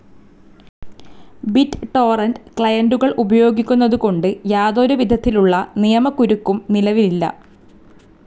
Bit torrent ക്ലയന്റുകൾ ഉപയോഗിക്കുന്നതു കൊണ്ട് യാതൊരു വിധത്തിലുള്ള നിയമകുരുക്കും നിലവിലില്ല.